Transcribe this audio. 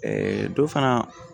dɔ fana